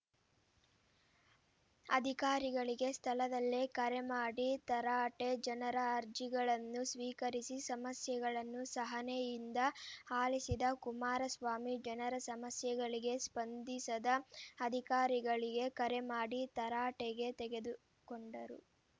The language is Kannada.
ಅಧಿಕಾರಿಗಳಿಗೆ ಸ್ಥಳದಲ್ಲೇ ಕರೆ ಮಾಡಿ ತರಾಟೆ ಜನರ ಅರ್ಜಿಗಳನ್ನು ಸ್ವೀಕರಿಸಿ ಸಮಸ್ಯೆಗಳನ್ನು ಸಹನೆಯಿಂದ ಆಲಿಸಿದ ಕುಮಾರಸ್ವಾಮಿ ಜನರ ಸಮಸ್ಯೆಗಳಿಗೆ ಸ್ಪಂದಿಸದ ಅಧಿಕಾರಗಳಿಗೆ ಕರೆ ಮಾಡಿ ತರಾಟೆಗೆ ತೆಗೆದುಕೊಂಡರು